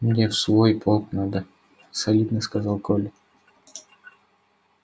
мне в свой полк надо солидно сказал коля